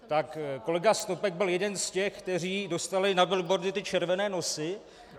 Tak kolega Snopek byl jeden z těch, kteří dostali na billboardy ty červené nosy.